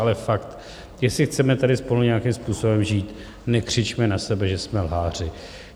Ale fakt, jestli chceme tady spolu nějakým způsobem žít, nekřičme na sebe, že jsme lháři.